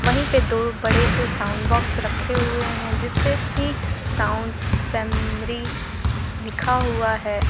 वहीं पर दो बड़े से साउंड बॉक्स रखे हुए हैं जिस पर सिंह साउंड सेमरी लिखा हुआ है।